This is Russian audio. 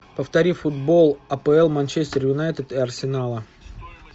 повтори футбол апл манчестер юнайтед и арсенала